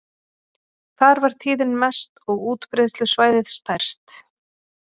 Þar var tíðnin mest og útbreiðslusvæðið stærst.